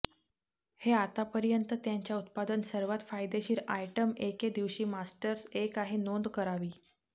हे आता पर्यंत त्यांच्या उत्पादन सर्वात फायदेशीर आयटम एके दिवशी मास्टर्स एक आहे नोंद करावी